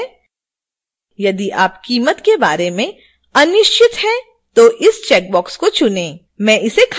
यदि आप कीमत के बारे में अनिश्चित हैं तो इस चेकबॉक्स को चुनें मैं इसे खाली छोड़ दूंगी